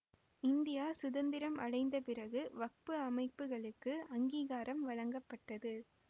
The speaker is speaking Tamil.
இந்தியா சுதந்திரம் அடைந்தப் பிறகு வக்பு அமைப்புகளுக்கு அங்கீகாரம் வழங்கப்பட்டது